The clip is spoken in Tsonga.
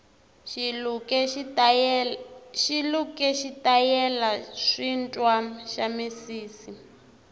xiluke xitayele swintwa xamisisi